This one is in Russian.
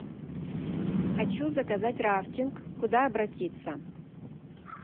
хочу заказать рафтинг куда обратиться